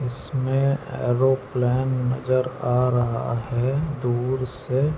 इसमें एयरोप्लैन नज़र आ रहा ह दूर से।